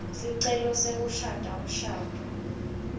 sicelo sekushada umshado